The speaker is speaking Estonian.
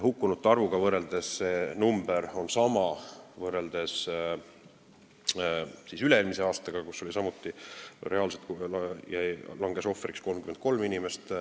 Hukkunute arv on sama, võrreldes üle-eelmise aastaga, kui samuti langes reaalselt ohvriks 33 inimest.